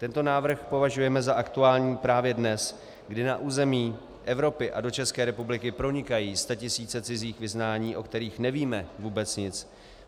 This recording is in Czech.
Tento návrh považujeme za aktuální právě dnes, kdy na území Evropy a do České republiky pronikají statisíce cizích vyznání, o kterých nevíme vůbec nic.